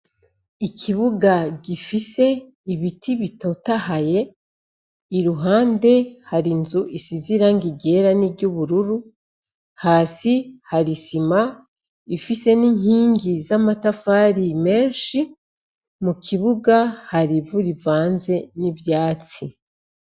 Ikibuga gifise ibiti bitotaye iruhande hari inzu isize irangi ryera niryubururu hasi hari isima ifise ninkigi zamatafari menshi mukibuga hari ivu ivanze nivyatsi